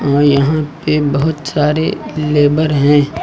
और यहां पे बहुत सारे लेबर हैं।